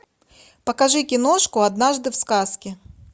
покажи киношку однажды в сказке